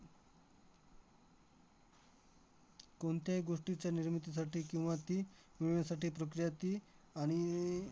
कोणत्याही गोष्टीच्या निर्मितीसाठी किंवा ती मिळण्यासाठी प्रक्रिया ती आणिई